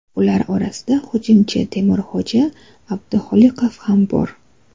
Ular orasida hujumchi Temurxo‘ja Abduxoliqov ham bor.